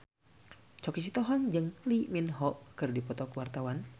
Choky Sitohang jeung Lee Min Ho keur dipoto ku wartawan